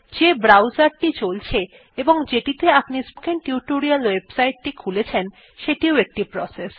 যেই ব্রাউজার টি চলছে এবং যেটিতে আপনি স্পোকেন টিউটোরিয়াল ওয়েবসাইট টি খুলেছেন সেটিও একটি প্রসেস